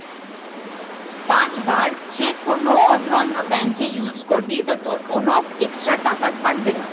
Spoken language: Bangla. পাঁচবার যে কোনো অন্য অন্য bank এ use করবি তো তোর কোনো extra টাকা কাটবে না।